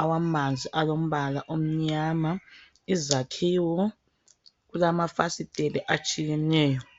awamanzi alompala omnyama izakhiwo kulamafasitela atshiyeneyo.